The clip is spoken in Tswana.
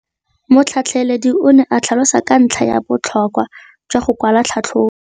Motlhatlheledi o ne a tlhalosa ka ntlha ya botlhokwa jwa go kwala tlhatlhôbô.